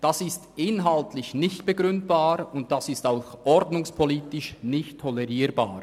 Das ist inhaltlich nicht begründbar und ordnungspolitisch nicht tolerierbar.